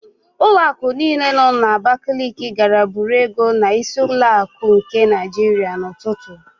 Ụlọakụ niile nọ n'Abakaliki gara buru ego n'Ísí ụlọakụ nke Naịjiria n'ụtụtụ.